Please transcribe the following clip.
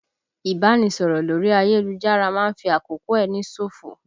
Ìbánisọ̀rọ̀ lórí ayélujára máa ń fi àkókò ẹni ṣòfò